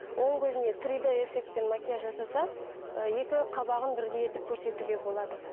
оң көзіне три д эффектімен макияж жасаса екі қабағын бірдей етіп көрсетуге болады